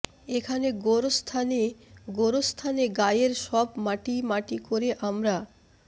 এখানে গোরস্থানে গোরস্তানে গায়ের সব মাটি মাটি করে আমরা